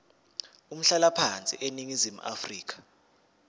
umhlalaphansi eningizimu afrika